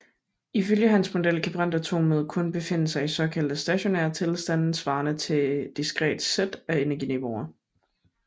Ifølge hans model kan brintatomet kun befinde sig i såkaldte stationære tilstande svarende til et diskret sæt af energiniveauer